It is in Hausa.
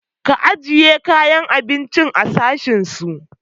Ka ajiye kayan abincin a sashen su!